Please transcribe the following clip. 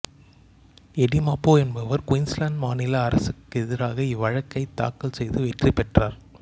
eddy Mabo என்பவர் Queensland மாநில அரசுக்கு எதிராக இவ்வழக்கைத் தாக்கல் செய்து வெற்றி பெற்றார்